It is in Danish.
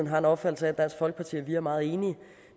har en opfattelse af at dansk folkeparti og vi er meget enige